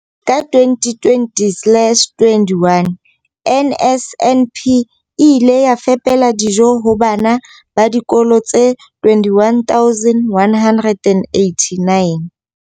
Ka 2020-21, NSNP e ile ya fepela dijo ho bana ba dikolo tse 21 189.